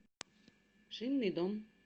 шинный дом